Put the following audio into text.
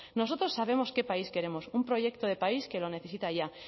nosotros sabemos qué país queremos un proyecto de país que lo necesita ya